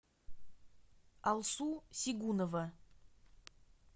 алсу сигунова